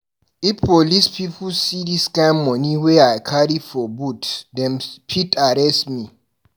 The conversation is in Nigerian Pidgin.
If police pipu see dis kind moni wey I carry for boot, dem fit arrest me.